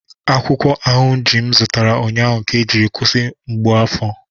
Akwukwo ahunji m zụtara ụnyaahụ ka ejiri kwụsị mgbu afọ